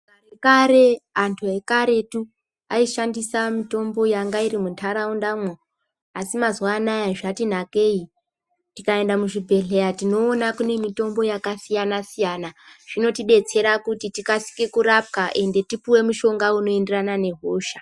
Kare antu ekaretu aishandisa mitombo yanga iri mundaraundamwo asi mazuwa anaya zvati nakei, tikaenda muzvibhehleya tinoona kune mitombo yakasiyana-siyana. Zvinotidetsera kuti tikasire kurapwa uye tipuwe mushonga unoenderana nehosha.